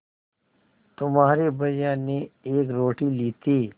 तुम्हारे भैया ने एक रोटी ली थी